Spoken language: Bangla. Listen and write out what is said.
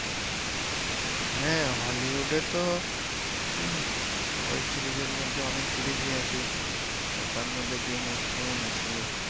হ্যাঁ হলিউডে তো ওয়েব সিরিজ এর মধ্যে অনেক সিরিজ ই আছে তার মধ্যে গেম অফ থ্রন আছে